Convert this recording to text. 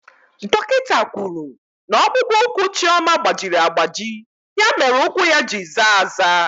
Dọkịta kwuru na ọkpụkpụ ụkwụ Chioma gbajiri agbaji ya mere ụkwụ ya ji zaa aza.